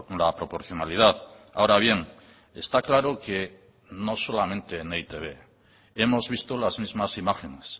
la proporcionalidad ahora bien está claro que no solamente en e i te be hemos visto las mismas imágenes